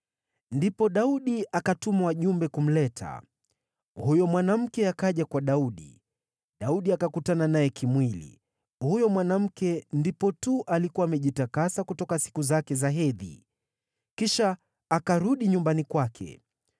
Ndipo Daudi akatuma wajumbe kumleta. Huyo mwanamke akaja kwa Daudi, Daudi akakutana naye kimwili. (Huyo mwanamke ndipo tu alikuwa amejitakasa kutoka siku zake za hedhi.) Kisha akarudi nyumbani kwake.